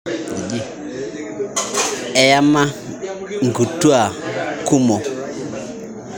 Eyama nkutua kumo